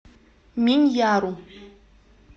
миньяру